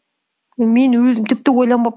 мен өзім тіпті